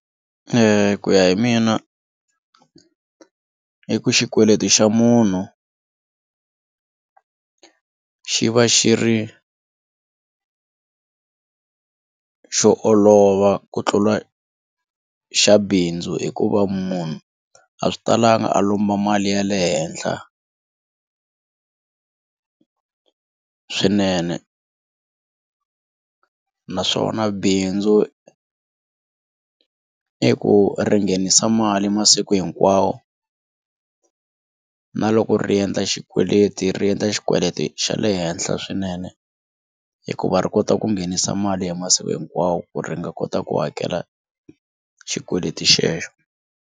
Ku ya hi mina i ku xikweleti xa munhu xi va xi ri xo olova ku tlula xa bindzu hikuva munhu a swi talanga a lomba mali ya le henhla swinene naswona bindzu i ku ri nghenisa mali masiku hinkwawo na loko ri endla xikweleti ri endla xikweleti xa le henhla swinene hikuva ri kota ku nghenisa mali hi masiku hinkwawo ku ri nga kota ku hakela xikweleti xexo.